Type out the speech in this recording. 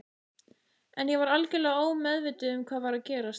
En ég var algjörlega ómeðvituð um hvað var að gerast.